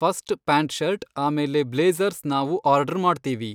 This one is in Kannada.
ಫಸ್ಟ್ ಪ್ಯಾಂಟ್ ಶರ್ಟ್ ಆಮೇಲೆ ಬ್ಲೇಝರ್ಸ್ ನಾವು ಆರ್ಡ್ರು ಮಾಡ್ತೀವಿ.